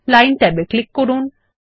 line ট্যাবে click করুন